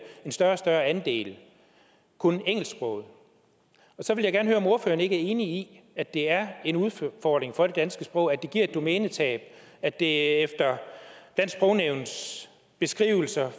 en større og større andel kun engelsksproget så jeg vil om ordføreren ikke er enig i at det er en udfordring for det danske sprog at det giver et domænetab og at det efter dansk sprognævns beskrivelser